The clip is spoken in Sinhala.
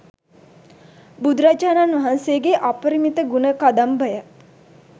බුදුරජාණන් වහන්සේගේ අපරිමිත ගුණ කදම්භය